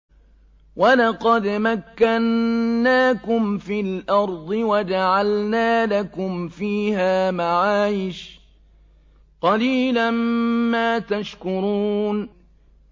وَلَقَدْ مَكَّنَّاكُمْ فِي الْأَرْضِ وَجَعَلْنَا لَكُمْ فِيهَا مَعَايِشَ ۗ قَلِيلًا مَّا تَشْكُرُونَ